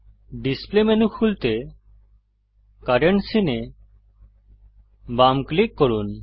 display menu খুলতে current scene এ বাম ক্লিক করুন